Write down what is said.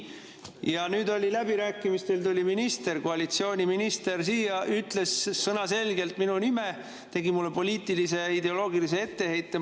Ja nüüd läbirääkimistel tuli minister, koalitsiooni siia, ütles sõnaselgelt minu nime ja tegi mulle poliitilise ideoloogilise etteheite.